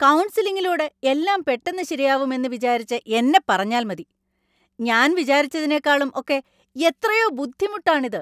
കൗൺസിലിങ്ങിലൂടെ എല്ലാം പെട്ടെന്ന് ശരിയാവും എന്ന് വിചാരിച്ച എന്നെ പറഞ്ഞാൽ മതി. ഞാൻ വിചാരിച്ചതിനെക്കാളും ഒക്കെ എത്രയോ ബുദ്ധിമുട്ടാണ് ഇത്.